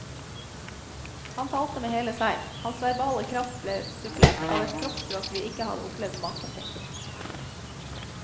Han talte med hele seg, hans verbale kraft ble supplert av et kroppsspråk vi ikke hadde opplevd maken til.